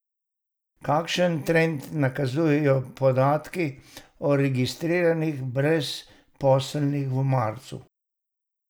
Kakšen trend nakazujejo podatki o registriranih brezposelnih v marcu?